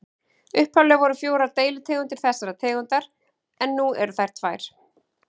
Upphaflega voru fjórar deilitegundir þessarar tegundar en nú eru þær tvær.